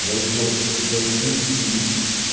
я ещё вот до этих приступов ебучих